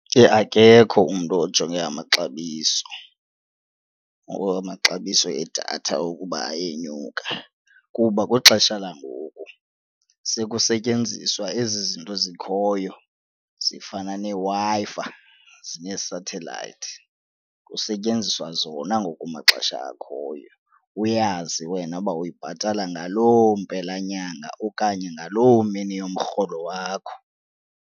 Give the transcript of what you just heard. Akekho umntu ojonge amaxabiso or amaxabiso edatha ukuba ayenyuka kuba kwixesha langoku sekusetyenziswa ezi zinto zikhoyo zifana neeWi-Fi zine-satellite, kusetyenziswa zona ngoku kumaxesha akhoyo. Uyazi wena uba uyibhatala ngaloo mpela nyanga okanye ngaloo mini yomrholo wakho.